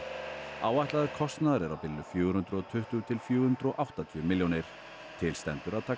áætlaður kostnaður er á bilinu fjögur hundruð og tuttugu til fjögur hundruð og áttatíu milljónir til stendur að taka